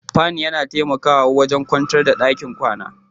Fan yana taimakawa wajen kwantar da ɗakin kwana